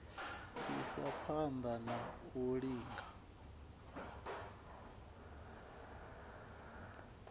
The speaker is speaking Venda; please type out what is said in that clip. isa phana na u linga